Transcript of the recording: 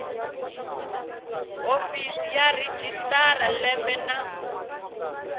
hofisi ya registrar lembe na